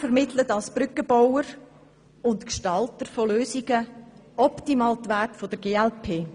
Er vermittelt als Brückenbauer und Gestalter von Lösungen optimal die Werte der glp.